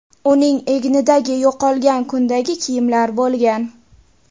Uning egnida yo‘qolgan kundagi kiyimlar bo‘lgan.